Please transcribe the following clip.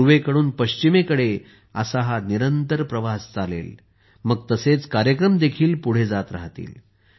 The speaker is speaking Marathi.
पूर्वेकडून पश्चिमेकडे असा हा निरंतर प्रवास चालेल मग तसेच कार्यक्रम देखील पुढे जात राहतील